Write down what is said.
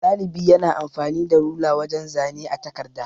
Ɗalibi yana amfani da rula wajan zane a takarda.